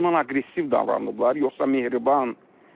Ondan aqressiv davranıblar yoxsa mehriban?